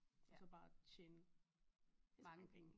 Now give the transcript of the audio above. Så bare tjene rigtig mange penge